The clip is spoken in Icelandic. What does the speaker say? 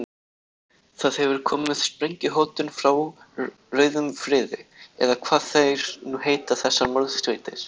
Það hefur komið sprengjuhótun frá rauðum friði, eða hvað þær nú heita þessar morðsveitir.